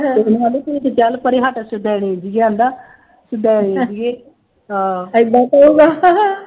ਅਤੇ ਮੈਨੂੰ ਕਹਿੰਦੀ ਬਈ ਚੱਲ ਪਰੇ ਹੱਟ ਸਿੱਧਾ ਅੜਿੰਗੀ ਜਾਂਦਾ, ਸੁਦੈਣੇ ਜਿਹੀਏ, ਅਹ ਏਦਾਂ ਕਹੂਗਾ,